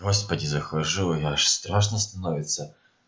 господи захожу и аж страшно становится